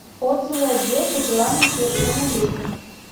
отзывы отдел по делам несовершеннолетних